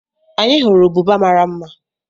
Anyị hụrụ ụbụba mara mma